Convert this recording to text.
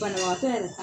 Banabaatɔ yɛrɛ